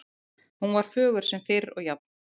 Hún var fögur sem fyrr og jafn